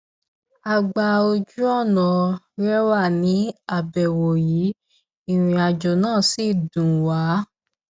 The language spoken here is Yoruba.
a gba ojúọnà rẹwà ní àbẹwò yìí ìrìnàjò náà sì dùn wa